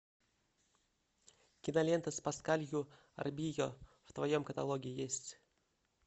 кинолента с паскалью арбийо в твоем каталоге есть